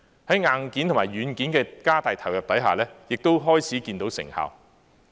在硬件和軟件的加大投入之下，亦開始看到成效。